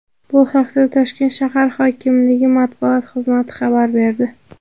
Bu haqda Toshkent shahar hokimligi matbuot xizmati xabar berdi .